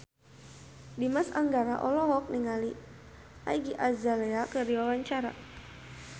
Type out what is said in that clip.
Dimas Anggara olohok ningali Iggy Azalea keur diwawancara